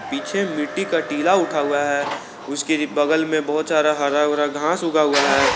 पीछे मिट्टी का टीला उठा हुआ है उसकी रि बगल में बहुत सारा हरा ओरा घास उगा हुआ है।